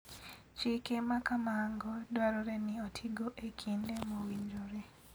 Chike ma kamago dwarore ni otigo e kinde mowinjore.